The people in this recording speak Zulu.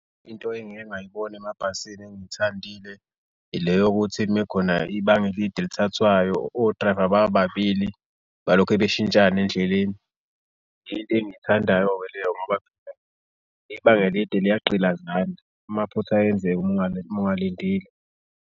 Into engike ngayibona emabhasini engikuthandile ile yokuthi uma kukhona ibanga elide elithathwayo o-driver baba babili balokhe beshintshana endleleni. Into engiyithandayo-ke leyo ibanga elide liyagqilazana amaphutha ayenzeke uma ungalindile.